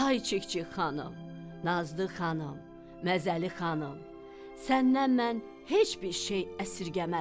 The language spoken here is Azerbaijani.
"Ay Çik-çik xanım, Nazlı xanım, Məzəli xanım, səndən mən heç bir şey əsirgəmərəm.